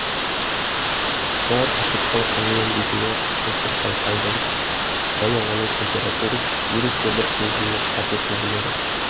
бұлар үтіктің қызуын бетіне тосып байқайды және оның температурасын ерекше бір сезіммен қатесіз біледі